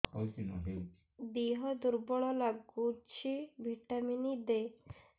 ଦିହ ଦୁର୍ବଳ ଲାଗୁଛି ଭିଟାମିନ ଦେ